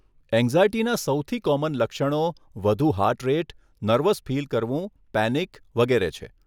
એંગ્ઝાયટીના સૌથી કોમન લક્ષણો વધુ હાર્ટ રેટ, નર્વસ ફીલ કરવું, પેનિક વગેરે છે.